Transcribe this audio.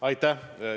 Aitäh!